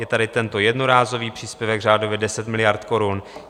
Je tady tento jednorázový příspěvek, řádově 10 miliard korun.